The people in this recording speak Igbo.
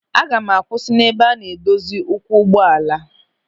Aga m akwụsị n'ebe a na-edozi ụkwụ ụgbọala.